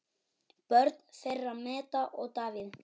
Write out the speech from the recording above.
Börn þeirra Metta og Davíð.